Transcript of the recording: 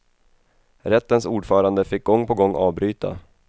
Rättens ordförande fick gång på gång avbryta.